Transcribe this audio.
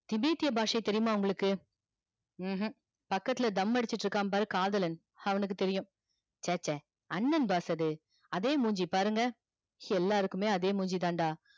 திபத்திய பாச தெரியுமா உங்களுக்கு உம் பக்கத்துல தம்மு அடிச்சிகிட்டு இருக்கா பாரு காதலன் அவனுக்கு தெரியும ச்ச ச்ச அண்ணன் boss அது அதே மூஞ்சிய பாருங்க எல்லார்க்கும் அதே மூஞ்சிதாண்டா